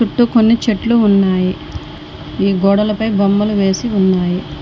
చుట్టూ కొన్ని చెట్లు ఉన్నాయి ఈ గోడలపై బొమ్మలు వేసి ఉన్నాయి.